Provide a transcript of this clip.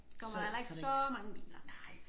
Kommer der heller ikke så mange biler